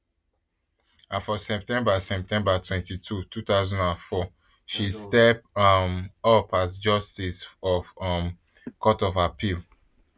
and for september september twenty-two two thousand and four she step um up as justice of um the court of appeal